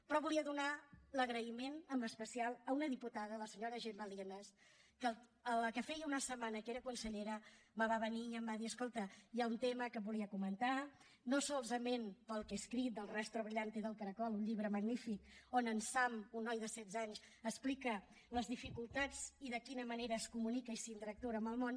però volia donar l’agraïment en especial a una diputada la senyora gemma lienas que quan feia una setmana que era consellera me va venir i em va dir escolta hi ha un tema que et volia comentar no solament pel que he escrit d’el rastro brillante del caracol un llibre magnífic on en sam un noi de setze anys explica les dificultats i de quina manera es comunica i interactua amb el món